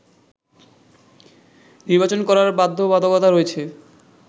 নির্বাচন করার বাধ্যবাধকতা রয়েছে